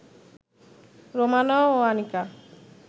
রোমানা ও আনিকা